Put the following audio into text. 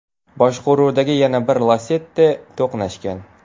boshqaruvidagi yana bir Lacetti to‘qnashgan.